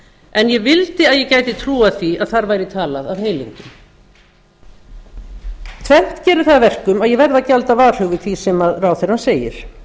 en ég vildi að ég gæti trúað því að þar væri talað af heilindum tvennt gerir það að verkum að ég verð að gjalda varhug við því sem ráðherrann segir